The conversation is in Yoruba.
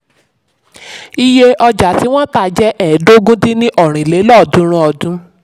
iye ọjà tí wọ́n tà jẹ́ ẹ́ẹdógún dín ní ọ́rin lélọ́ọ̀dúnrún ọdún.